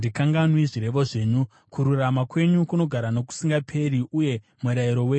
Kururama kwenyu kunogara nokusingaperi, uye murayiro wenyu ndowezvokwadi.